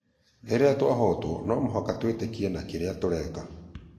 Rĩrĩa twahootwo no mũhaka twĩĩtĩkie na kĩria tũreka".